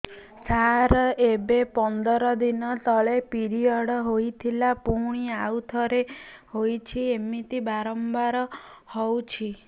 ସାର ଏବେ ପନ୍ଦର ଦିନ ତଳେ ପିରିଅଡ଼ ହୋଇଥିଲା ପୁଣି ଆଉଥରେ ହୋଇଛି ଏମିତି ବାରମ୍ବାର ହଉଛି